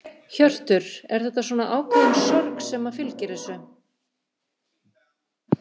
Hjörtur: Er þetta svona ákveðin sorg sem að fylgir þessu?